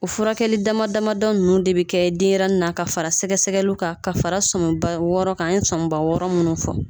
O furakɛli dama damadɔ nunnu de bɛ kɛ denyɛrɛni n'a ka fara sɛgɛ-sɛgɛliw kan ka fara sɔnba wɔɔrɔ kan, an ye sɔnba wɔɔrɔ munnu fɔ.